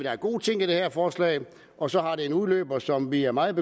er gode ting i det her forslag og så har det en udløber som vi er meget